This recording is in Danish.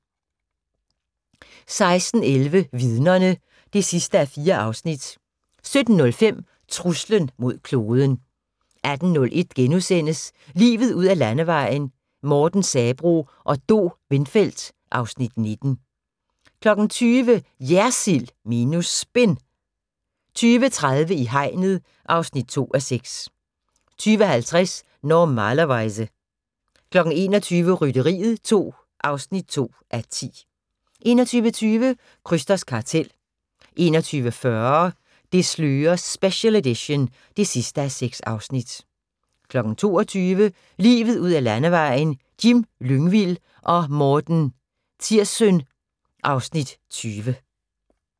16:11: Vidnerne (4:4) 17:05: Truslen mod kloden 18:01: Livet ud ad landevejen: Morten Sabroe og Do Windfeldt (Afs. 19)* 20:00: JERSILD minus SPIN 20:30: I hegnet (2:6) 20:50: Normalerweize 21:00: Rytteriet 2 (2:10) 21:20: Krysters kartel 21:40: Det slører special edition (6:6) 22:00: Livet ud ad landevejen: Jim Lyngvild og Morten Tirssøn (Afs. 20)